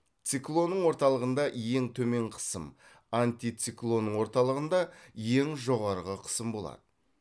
циклонның орталығында ең төмен қысым антициклонның орталығында ең жоғары кысым болады